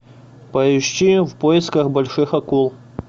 поищи в поисках больших акул